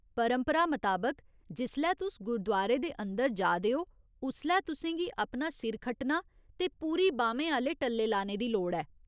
परंपरा मताबक, जिसलै तुस गुरदुआरे दे अंदर जा दे ओ उसलै तुसेंगी अपना सिर खट्टना ते पूरी बाह्‌मेंआह्‌ले टल्ले लाने दी लोड़ ऐ।